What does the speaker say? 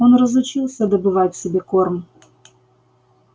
он разучился добывать себе корм